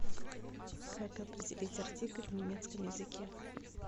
как определить артикль в немецком языке